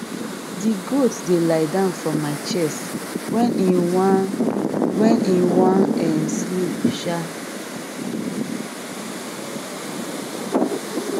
di goat dey lie down for my chest wen em wan wen em wan um sleep um